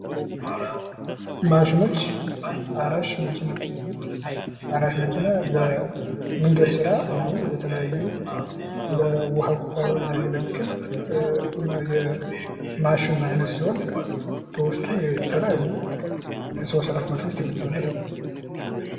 ማሽኖች አራሽ መኪና አራሽ መኪና ለመንገድ ስራ እንዲሁም ለተለያዩ የውሀ ቁፋሮ የሚያገለግል የማሽን አይነት ሲሆን በውስጡ የተለያዩ ሰው ስራሽ ማሽኖች የተገጠመለተሰ ነው።